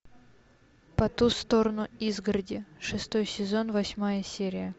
по ту сторону изгороди шестой сезон восьмая серия